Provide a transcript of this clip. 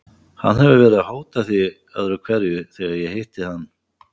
Hann hefur verið að hóta því öðru hverju þegar ég hitti hann.